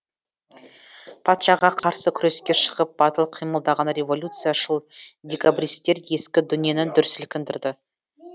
патшаға қарсы күреске шығып батыл қимылдаған революцияшыл декабристер ескі дүниені дүр сілкіндірді